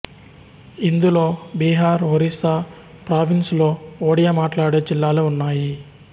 ఇందులో బీహార్ ఒరిస్సా ప్రావిన్స్ లో ఒడియా మాట్లాడే జిల్లాలు ఉన్నాయి